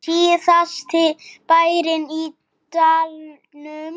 Síðasti bærinn í dalnum